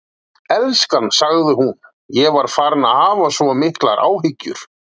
Elskan, sagði hún, ég var farin að hafa svo miklar áhyggjur.